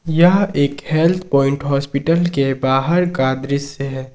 यह एक health point hospital के बाहर का दृश्य है।